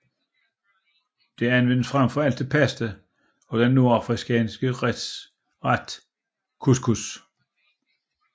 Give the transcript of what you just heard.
Det anvendes frem for alt til pasta og den nordafrikanske ret couscous